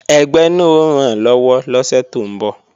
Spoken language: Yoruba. Ẹgbẹ́ náà ó rànlọ́wọ́ lọ́sẹ̀ tó ń bọ̀